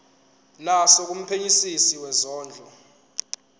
naso kumphenyisisi wezondlo